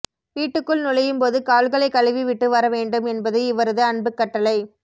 வீட்டுக்குள் நுழையும்போது கால்களைக் கழுவிவிட்டு வர வேண்டும் என்பது இவரது அன்புக் கட்டளை